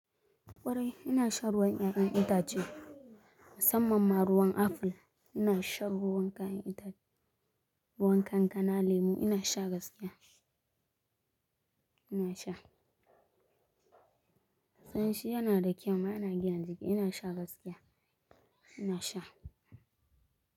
Kwarai ina shan ruwan 'ya'yan itace, musamman ma ruwan aful. Ina shan ruwan kayan itace, ruwan kankana, lemu ina sha gaskiya. Ina sha. San shi yana da kyau ma ina gyanjike ina sha gaskiya. Ina sha.